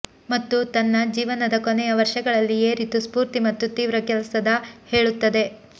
ಮತ್ತು ತನ್ನ ಜೀವನದ ಕೊನೆಯ ವರ್ಷಗಳಲ್ಲಿ ಏರಿತು ಸ್ಫೂರ್ತಿ ಮತ್ತು ತೀವ್ರ ಕೆಲಸದ ಹೇಳುತ್ತದೆ